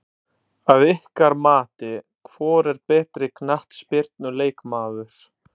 Að ykkar mati, hvor er betri knattspyrnu leikmaður?